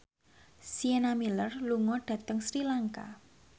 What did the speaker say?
Sienna Miller lunga dhateng Sri Lanka